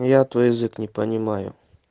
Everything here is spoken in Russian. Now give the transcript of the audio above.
я твой язык не понимаю